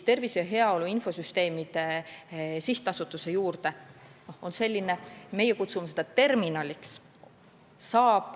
Tervise ja heaolu infosüsteemide sihtasutuse juures on selline asi, mida meie kutsume terminaliks.